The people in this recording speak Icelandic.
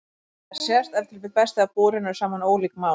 Þetta sést ef til vill best þegar borin eru saman ólík mál.